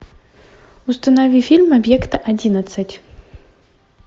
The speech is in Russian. установи фильм объект одиннадцать